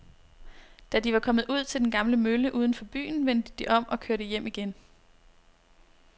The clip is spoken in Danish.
Da de var kommet ud til den gamle mølle uden for byen, vendte de om og kørte hjem igen.